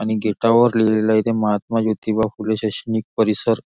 आणि गेटावर लिहिलेल आहे इथे महात्मा ज्योतिबा फुले शैक्षणिक परिसर.